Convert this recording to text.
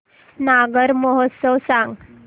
नागौर महोत्सव सांग